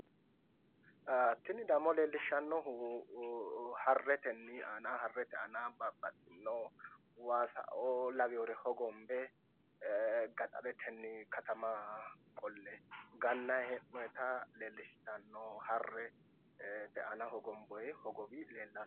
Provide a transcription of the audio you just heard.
Tini dammo leellishshannohu harretenni aana harrete aana babbaxxinno waasaoo lawewoore hogombe gaxaretenni katama qolle gannayi hee'noyiita leellishshanno harrete aana hogombooyi hogowo leellishanno.